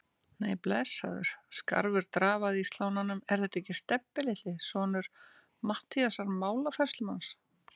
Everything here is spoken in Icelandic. Nei, blessaður, skarfur drafaði í slánanum, er þetta ekki Stebbi litli, sonur Matthíasar málafærslumanns?